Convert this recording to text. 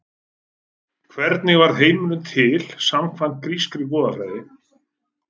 hvernig varð heimurinn til samkvæmt grískri goðafræði